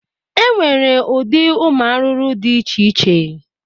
E nwere ụdị ụmụ arụrụ dị iche iche.